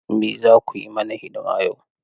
Me za ku yi mana hidima yau?